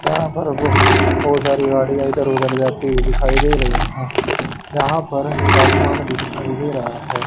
यह पर बहु बहुत सारी गाड़ियां इधर उधर जाती हुई दिखाई दे रही है यहां पर एक आसमान भी दिखाई दे रहा है।